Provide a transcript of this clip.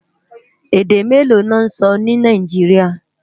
Èdè méló lò nsò ni Náijiriá?